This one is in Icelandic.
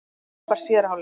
Frábær síðari hálfleikur